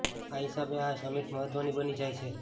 આ હિસાબે આ સમિટ મહત્વની બની જાય છે